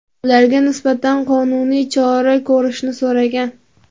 ularga nisbatan qonuniy chora ko‘rishni so‘ragan.